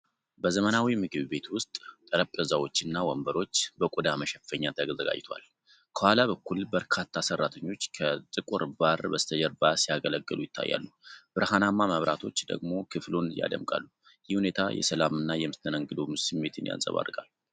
በዘመናዊ ምግብ ቤት ውስጥ፣ ጠረጴዛዎች እና ወንበሮች በቆዳ መሸፈኛ ተዘጋጅተዋል። ከኋላ በኩል በርካታ ሰራተኞች ከጥቁር ባር በስተጀርባ ሲያገለግሉ ይታያሉ፤ ብርሃናማ መብራቶች ደግሞ ክፍሉን ያደምቃሉ። ይህ ሁኔታ የሰላም እና የመስተንግዶ ስሜትን ያንጸባርቃል።